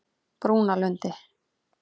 Brúnalundi